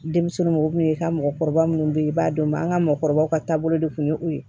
Denmisɛnninw i ka mɔgɔkɔrɔba minnu bɛ yen i b'a dɔn an ka mɔgɔkɔrɔbaw ka taabolo de kun ye o ye